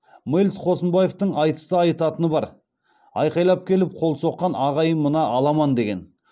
мэлс қосынбаевтың айтыста айтатыны бар айқайлап келіп қол соққан ағайын мына аламан деген